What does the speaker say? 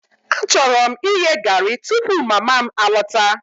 Achọrọ m ighe garri tupu mama m alọta